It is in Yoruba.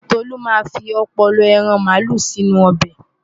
Tolú máa fi ọpọlọ ẹran màálù sínú ọbẹ̀.